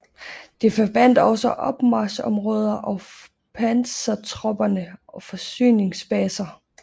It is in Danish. Det forbandt også opmarchområder for pansertropper og forsyningsbaser